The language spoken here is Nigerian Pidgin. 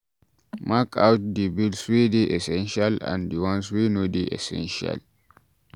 Mark out di bills wey dey essential and di ones wey no dey essential